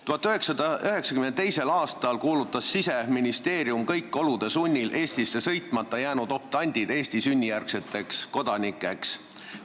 1992. aastal kuulutas Siseministeerium kõik olude sunnil Eestisse sõitmata jätnud optandid sünnijärgseteks Eesti kodanikeks.